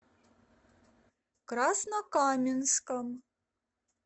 краснокаменском